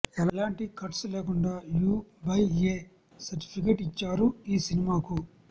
ఎలాంటి కట్స్ లేకుండా U by A certificate ఇచ్చారు ఈ సినిమాకు